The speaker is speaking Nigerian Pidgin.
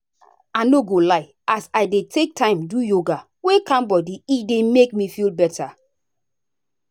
i no go lie as i dey take time do yoga wey calm body e dey make me feel better.